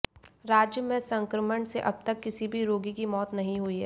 राज्य में संक्रमण से अबतक किसी भी रोगी की मौत नहीं हुई है